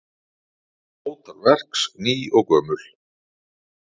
Ótal verks ný og gömul.